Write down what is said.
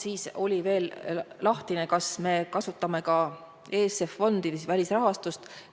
Siis oli veel lahtine, kas me kasutame ka ESF-i ehk siis välisrahastust.